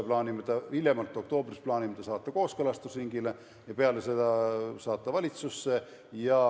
Hiljemalt oktoobris plaanime saata selle kooskõlastusringile ja peale seda valitsusse.